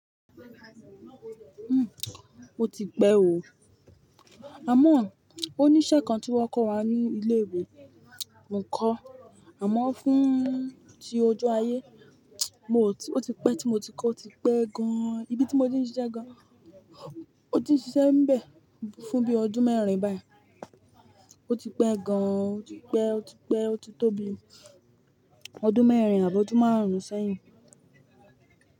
Hmm, mo ti pè o. Àmọ́ oníṣẹ́ kan tí wọ́n kó wá ní ilé ìwé, n kọ́. Àmọ́ fún ti ojú ayé, mi o ò tí-- ó ti pẹ́ tí mo ti kọ́, ó ti pẹ́ gan-an. Ibi tí mo ti ń ṣiṣẹ́ gan, mó ti ń ṣiṣẹ́ n bẹ̀ fún bí ọdún mẹ́rin báyìí. Ó ti pẹ́ gan-an, ó ti pẹ́, ó ti pẹ́, ó ti tó bi ọdún mẹ́rin àbi ọdún márùn-ún sẹ́yìn.